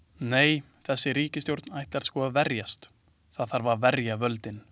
Nei, þessi ríkisstjórn ætlar sko að verjast, það þarf að verja völdin.